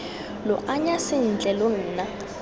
lo anya sentle lo nna